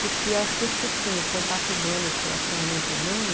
Porque eu acho que contato humano, esse relacionamento humano,